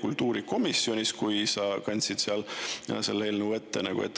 kultuurikomisjonis, kui sa kandsid seal eelnõu ette.